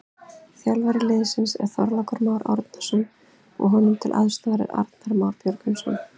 Þjálfari liðsins er Þorlákur Már Árnason og honum til aðstoðar er Arnar Már Björgvinsson.